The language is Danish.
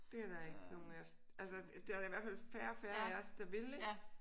Det er der ikke nogen af os altså der er da i hvert fald færre og færre af os der vil ik